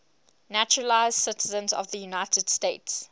naturalized citizens of the united states